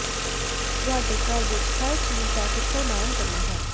ਤੁਹਾਡੇ ਘਰ ਵਿੱਚ ਹਰ ਚੀਜ਼ ਦਾ ਕਿੱਥੋਂ ਦਾਨ ਕਰਨਾ ਹੈ